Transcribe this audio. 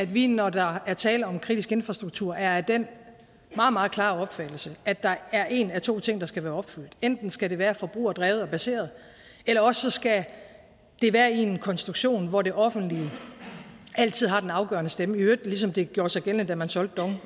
vi når der er tale om kritisk infrastruktur er af den meget meget klare opfattelse at der er en af to ting der skal være opfyldt enten skal det være forbrugerdrevet og baseret eller også skal det være i en konstruktion hvor det offentlige altid har den afgørende stemme i øvrigt ligesom det oprindelig gjorde sig gældende da man solgte dong det